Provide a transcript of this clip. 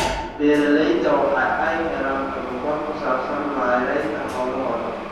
Beeralayda waxa ay helaan tababar ku saabsan maaraynta hawlahooda.